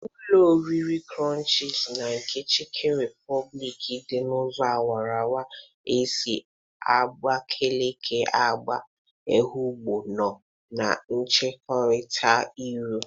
Ụlọ orire krọnchịz na nke chịkịn rịpọbịlịkị dị n'ụzọ awarawara esi Abakeleke aga Ehụgbọ nọ na ncherịta iru.